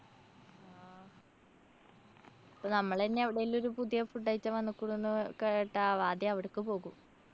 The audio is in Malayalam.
ഇപ്പോ നമ്മളന്നെ എവടെലും ഒരു പുതിയ food item വന്നുക്കുണുന്ന് കേട്ടാ ആദ്യം അവ്ട്ക്കു പോകും.